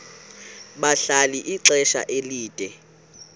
bahlala ixesha elide